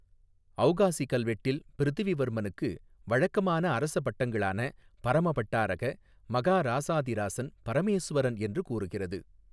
ஔகாசி கல்வெட்டில் பிரிதிவிவர்மனுக்கு வழக்கமான அரச பட்டங்களான பரம பட்டாரக மகாராசாதிராசன் பரமேசுவரன் என்று கூறுகிறது.